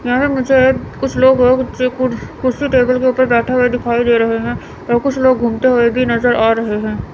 यहां पे मुझे कुछ लोग वोग चे कु कुर्सी टेबल के ऊपर बैठे हुए दिखाई दे रहे हैं और कुछ लोग घूमते हुए भी नजर आ रहे हैं।